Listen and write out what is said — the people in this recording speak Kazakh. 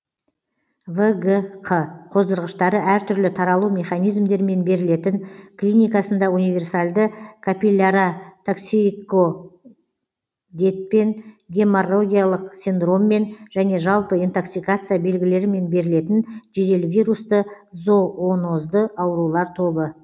вгқ қоздырғыштары әртүрлі таралу механизмдерімен берілетін клиникасында универсальды капилляротоксикодпен геморрагиялық синдроммен және жалпы интоксикация белгілерімен берілетін жедел вирусты зоонозды аурулар тобы